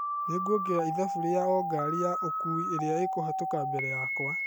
Nĩnguongerera ithabu rĩa o ngari ya ũkui irĩa ĩkuhetũka mbere yakwa.